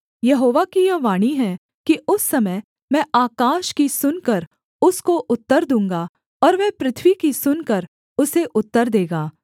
यहोवा की यह वाणी है कि उस समय मैं आकाश की सुनकर उसको उत्तर दूँगा और वह पृथ्वी की सुनकर उसे उत्तर देगा